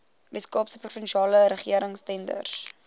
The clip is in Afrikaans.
weskaapse provinsiale regeringstenders